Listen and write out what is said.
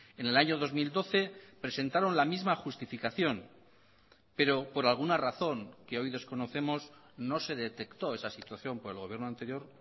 en el año dos mil doce presentaron la misma justificación pero por alguna razón que hoy desconocemos no se detectó esa situación por el gobierno anterior